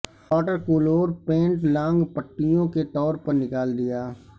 water colour paint long پٹیوں کے طور پر نکال دیا